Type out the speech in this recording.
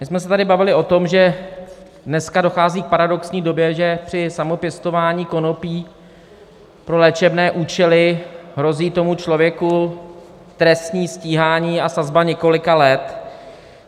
My jsme se tady bavili o tom, že dneska dochází k paradoxní době, že při samopěstování konopí pro léčebné účely hrozí tomu člověku trestní stíhání a sazba několika let.